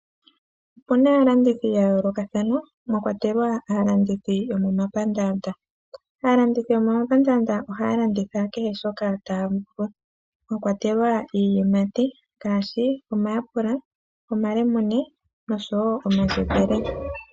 Opu na aalandithi ya yoolokathana mwa kwatelwa aalandithi yomomapandaanda mboka haya landitha kehe shoka taya vulu mwa kwatelwa iiyimati ngaashi omayapula, omalemune oshowo omandjembele.